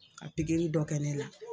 Ka pikiri dɔ kɛ ne la.